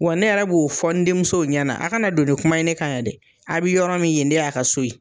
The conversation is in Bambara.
Wa ne yɛrɛ b'o fɔ n denmuso ɲɛna, a kana don ni kuma ye ne kan yan dɛ, a' bi yɔrɔ min ye de y'a ka so ye.